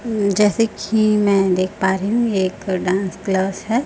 जैसे की मैं देख पा रही हूं ये एक डांस क्लास है।